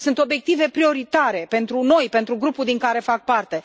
Sunt obiective prioritare pentru noi, pentru grupul din care fac parte.